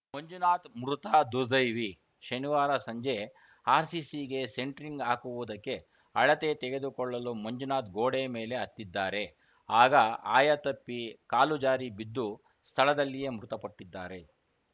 ಮಂಜುನಾಥ್‌ ಮೃತ ರ್ದುದೈವಿ ಶನಿವಾರ ಸಂಜೆ ಆರ್‌ಸಿಸಿಗೆ ಸೆಂಟ್ರಿಂಗ್‌ ಹಾಕುವುದಕ್ಕೆ ಅಳತೆ ತೆಗೆದುಕೊಳ್ಳಲು ಮಂಜುನಾಥ್‌ ಗೋಡೆ ಮೇಲೆ ಹತ್ತಿದ್ದಾರೆ ಆಗ ಆಯತಪ್ಪಿ ಕಾಲುಜಾರಿ ಬಿದ್ದು ಸ್ಥಳದಲ್ಲಿಯೇ ಮೃತಪಟ್ಟಿದ್ದಾರೆ